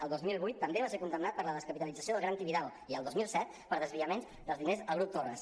el dos mil vuit també va ser condemnat per la descapitalització del gran tibidabo i el dos mil set per desviaments dels diners al grup torras